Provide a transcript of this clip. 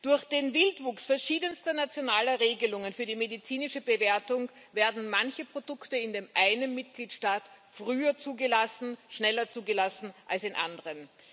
Durch den Wildwuchs verschiedenster nationaler Regelungen für die medizinische Bewertung werden manche Produkte in dem einen Mitgliedstaat früher zugelassen, schneller zugelassen als in anderen.